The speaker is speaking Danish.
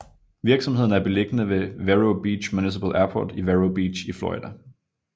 Virksomheden er beliggende ved Vero Beach Municipal Airport i Vero Beach i Florida